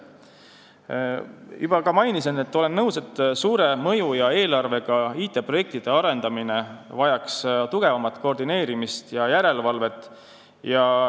Nagu juba mainisin, olen nõus, et suure mõju ja eelarvega IT-projektide arendamine vajaks tugevamat koordineerimist ja järelevalvet.